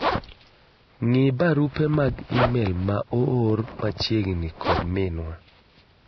ng'i barupe mag email ma oor machiegni kod minwa